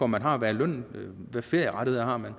man har hvad er lønnen hvad ferierettigheder har man